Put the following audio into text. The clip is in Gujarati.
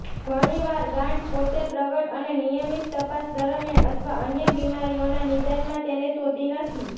ઘણીવાર ગાંઠ પોતે પ્રગટ અને નિયમિત તપાસ દરમિયાન અથવા અન્ય બિમારીઓના નિદાનમાં તેને શોધી નથી